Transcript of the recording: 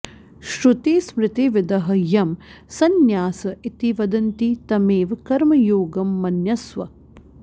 श्रुतिस्मृतिविदः यं सन्न्यास इति वदन्ति तमेव कर्मयोगं मन्यस्व